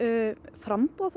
framboð